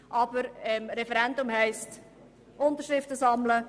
Ein Referendum zu ergreifen heisst, Unterschriften zu sammeln.